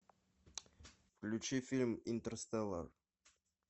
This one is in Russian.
включи фильм интерстеллар